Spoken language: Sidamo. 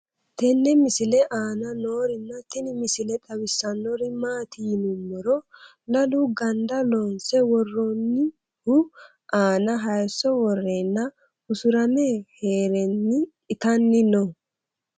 tenne misile aana noorina tini misile xawissannori maati yinummoro lalu gandda loonse woroonnihu aanna hayiisso woreenna usuramme heerenni ittanni noo